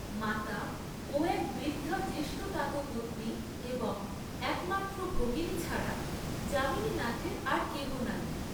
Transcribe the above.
মাতা ও এক বৃদ্ধা জ্যেষ্ঠতাতপত্নী এবং একমাত্র ভগিনী ছাড়া যামিনীনাথের আর কেহ নাই।